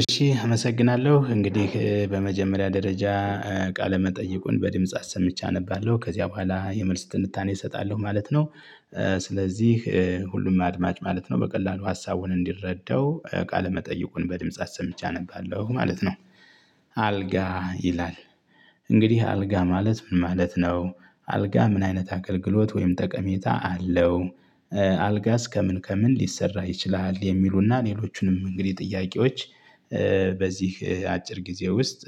እሺ አመሰግናለሁ እንግዲህ በመጀመሪያ ደረጃ ቃለ መጠየቁን በድምጽ አሰምቼ አነባለሁ ከዚያ በኋላ የመልስ ትንታኔ እሰጣለሁ ማለት ነው። ስለዚህ ሁሉም አድማጭ ማለት ነው በቀላሉ ሀሳቡን እንዲረዳው ቃለ መጠይቁን በድምጽ አሰምቼ አነባለሁ ማለት ነው። አልጋ ይላል እንግዲህ አልጋ ማለት ምን ማለት ነው? አልጋ ምን አይነት አገልግሎት ወይም ጠቀሜታ አለው? አልጋስ ከምን ከምን ሊሰራ ይችላል የሚሉና ሌሎቹንም እንግዲህ ጥያቄዎች በህ አጭር ጊዜ ውስጥ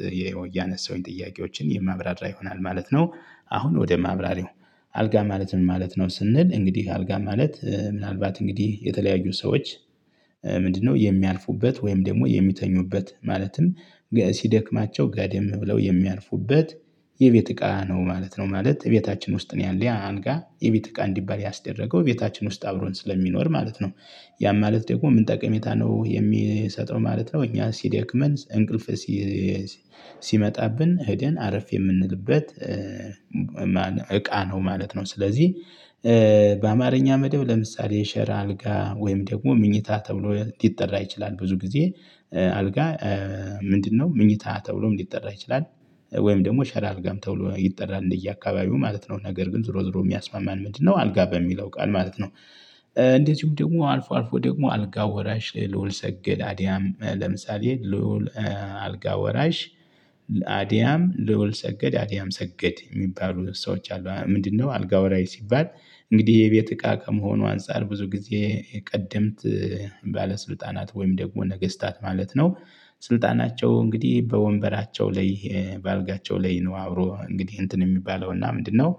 እያነሳሁኝ ጥያቄዎችን የማብራራ ይሆናል ማለት ነው። አሁን ወደ ማብራሪው። አልጋ ማለት ምን ማለት ነው? ስንል እንግዲህ አልጋ ማለት ምናልባት እንግዲህ የተለያዩ ሰዎች። ምንድነው የሚያልፉበት ወይም ደግሞ የሚተኙበት ማለትም ሲደክማቸው ጋደም ብለው የሚያልፉበት። የቤት እቃ ነው ማለት ነው። ማለት ቤታችን ውስጥ ነው ያለው አንጋ የቤት እቃ እንዲባል ያስደረገው ቤታችን ውስጥ አብሮን ስለሚኖር ማለት ነው። ያ ማለት ደግሞ ምን ጠቀሜታ ነው የሚሰጠው ማለት ነው? እኛ ሲደክመን እንቅልፍ ሲመጣብን ህደን አረፍ የምንልበት። እቃ ነው ማለት ነው። ስለዚህ በአማርኛ መደብ ለምሳሌ ሸራ አልጋ ወይም ደግሞ ምኝታ ተብሎ ሊጠራ ይችላል ብዙ ጊዜ። አልጋ ምንድነው ምኝታ ተብሎ ሊጠራ ይችላል? ወይም ደግሞ ሸራ አልጋም ተብሎ ይጠራል እንደየአካባቢው ማለት ነው። ነገር ግን ዝሮ ዝሮ የሚያስማማን ምንድነው? አልጋ በሚለው ቃል ማለት ነው። እንደዚሁም ደግሞ አልፎ አልፎ ደግሞ አልጋ ወራሽ ልዑል ሰገድ አድያም ለምሳሌ ልዑል አልጋ ወራሽ አድያም ልዑል ሰገድ አድያም ሰገድ የሚባሉ ሰዎች አሉ። ምንድነው? አልጋ ወራይ ሲባል እንግዲህ የቤት እቃ ከመሆኑ አንፃር ብዙ ጊዜ ቀደምት ባለስልጣናት ወይም ደግሞ ነገስታት ማለት ነው። ስልጣናቸው እንግዲህ በወንበራቸው ላይ በአልጋቸው ላይ ነው አብሮ እንግዲህ እንትን የሚባለው እና ምንድነው?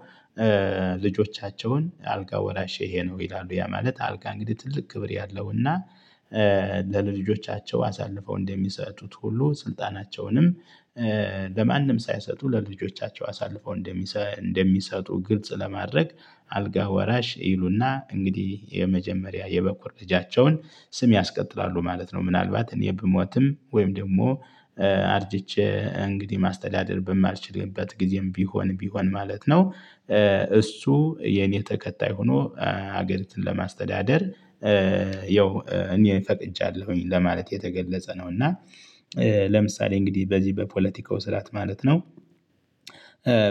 ልጆቻቸውን አልጋ ወራሼ ይሄ ነው ይላሉ ያ ማለት አልጋ እንግዲህ ትልቅ ክብር ያለውና ለልጆቻቸው አሳልፈው እንደሚሰጡት ሁሉ ስልጣናቸውንም ለማንም ሳይሰጡ ለልጆቻቸው አሳልፈው እንደሚሰጡ ግልጽ ለማድረግ አልጋ ወራሽ ይሉና እንግዲህ የመጀመሪያ የበኩር ልጃቸውን ስም ያስቀጥላሉ ማለት ነው። ምናልባት እኔ ብሞትም ወይም ደግሞ አርጅቼ እንግዲህ ማስተዳደር በማልችልበት ጊዜም ቢሆን ማለት ነው። እሱ የኔ ተከታይ ሆኖ ሀገሪቱን ለማስተዳደር ያው እኔ ፈቅጃላሁኝ ለማለት የተገለጸ ነው። እና ለምሳሌ እንግዲህ በዚህ በፖለቲካው ስርዓት ማለት ነው።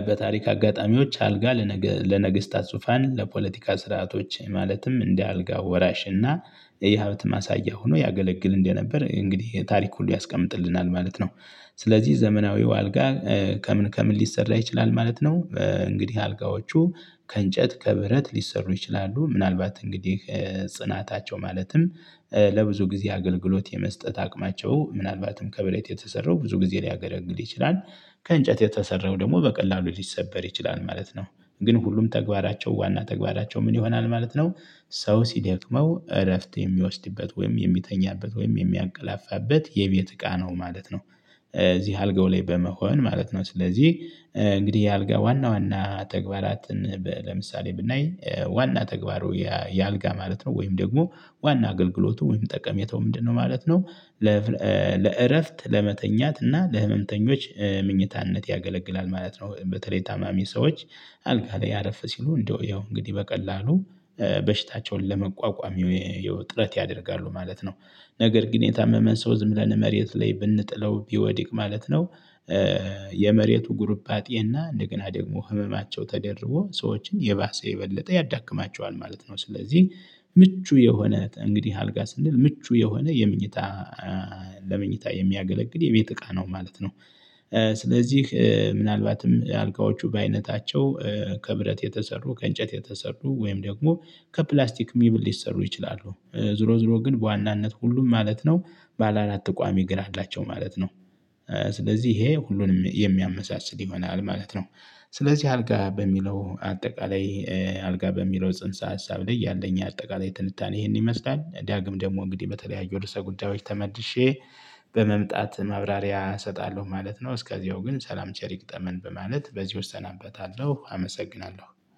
በታሪክ አጋጣሚዎች አልጋ ለነገ ለነገስታት ዙፋን ለፖለቲካ ስርዓቶች ማለትም እንደ አልጋ ወራሽ እና የሀብት ማሳያ ሆኖ ያገለግል እንደነበር እንግዲህ ታሪክ ሁሉ ያስቀምጥልናል ማለት ነው። ስለዚህ ዘመናዊው አልጋ ከምን ከምን ሊሰራ ይችላል ማለት ነው? እንግዲህ አልጋዎቹ ከእንጨት ከብረት ሊሰሩ ይችላሉ ምናልባት እንግዲህ ጽናታቸው ማለትም ለብዙ ጊዜ አገልግሎት የመስጠት አቅማቸው ምናልባትም ከብረት የተሰራው ብዙ ጊዜ ሊያገለግል ይችላል። ከእንጨት የተሰራው ደግሞ በቀላሉ ሊሰበር ይችላል ማለት ነው። ግን ሁሉም ተግባራቸው ዋና ተግባራቸው ምን ይሆናል ማለት ነው? ሰው ሲደክመው እረፍት የሚወስድበት ወይም የሚተኛበት ወይም የሚያቀላፋበት የቤት እቃ ነው ማለት ነው። እዚህ አልጋው ላይ በመሆን ማለት ነው። ስለዚህ እንግዲህ የአልጋ ዋና ዋና ተግባራትን ለምሳሌ ብናይ ዋና ተግባሩ የአልጋ ማለት ነው ወይም ደግሞ ዋና አገልግሎቱ ወይም ጠቀሜታው ምንድነው ማለት ነው? ለእረፍት ለመተኛት እና ለህመምተኞች ምኝታነት ያገለግላል ማለት ነው። በተለይ ታማሚ ሰዎች አልጋ ላይ አረፍ ሲሉ እንደው ያው እንግዲህ በቀላሉ በሽታቸውን ለመቋቋም ያው ጥረት ያደርጋሉ ማለት ነው። ነገር ግን የታመመን ሰው ዝም ብለን መሬት ላይ ብንጥለው ቢወድቅ ማለት ነው። የመሬቱ ጉርባጤና እንደገና ደግሞ ህመማቸው ተደርቦ ሰዎችን የባሰ የበለጠ ያዳክማቸዋል ማለት ነው። ስለዚህ ምቹ የሆነ እንግዲህ አልጋ ስንል ምቹ የሆነ የምኝታ ለመኝታ የሚያገለግል የቤት እቃ ነው ማለት ነው። ስለዚህ ምናልባትም አልጋዎቹ በአይነታቸው ከብረት የተሰሩ ከእንጨት የተሰሩ ወይም ደግሞ ከፕላስቲክ ሚብል ሊሰሩ ይችላሉ። ዞሮ ዞሮ ግን በዋናነት ሁሉም ማለት ነው ባለ አራት ቋሚ እግር አላቸው ማለት ነው። ስለዚህ ይሄ ሁሉንም የሚያመሳስል ይሆናል ማለት ነው። ስለዚህ አልጋ በሚለው አጠቃላይ አልጋ በሚለው ጽንሰ ሀሳብ ላይ ያለኝ አጠቃላይ ትንታኔ ይሄንን ይመስላል። ዳግም ደግሞ እንግዲህ በተለያዩ እርዕሰ ጉዳዮች ተመልሼ በመምጣት ማብራሪያ እሰጣለሁ ማለት ነው። እስከዚያው ግን ሰላም ቸሪ ይግጠመን በማለት በዚህ እሰናበታለሁ። አመሰግናለሁ